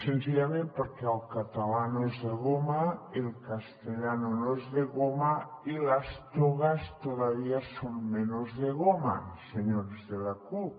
senzillament perquè el català no és de goma el castellano no es de goma y las togas todavía son menos de goma señores de la cup